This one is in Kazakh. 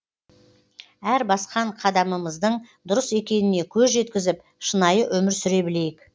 әр басқан қадамымыздың дұрыс екеніне көз жеткізіп шынайы өмір сүре білейік